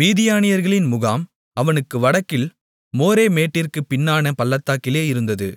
மீதியானியர்களின் முகாம் அவனுக்கு வடக்கில் மோரே மேட்டிற்குப் பின்னான பள்ளத்தாக்கிலே இருந்தது